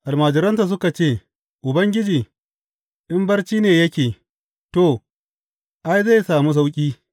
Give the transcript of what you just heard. Almajiransa suka ce, Ubangiji, in barci ne yake, to, ai, zai sami sauƙi.